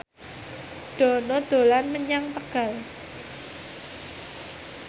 Dono dolan menyang Tegal